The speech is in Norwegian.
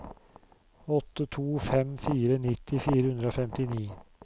åtte to fem fire nitti fire hundre og femtini